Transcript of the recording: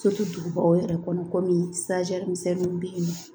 dugubaw yɛrɛ kɔnɔ kɔmi misɛnninw bɛ yen nɔ